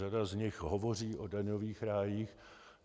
Řada z nich hovoří o daňových rájích.